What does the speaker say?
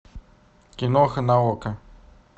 киноха на окко